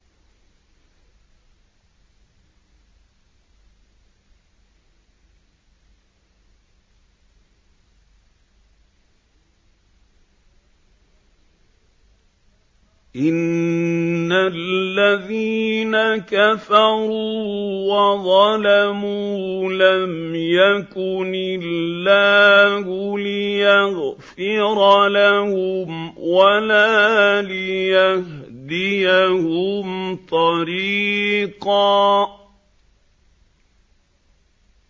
إِنَّ الَّذِينَ كَفَرُوا وَظَلَمُوا لَمْ يَكُنِ اللَّهُ لِيَغْفِرَ لَهُمْ وَلَا لِيَهْدِيَهُمْ طَرِيقًا